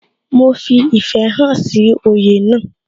Mo fi ìfẹ́ hàn sí oyè náà